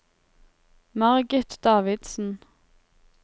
Margit Davidsen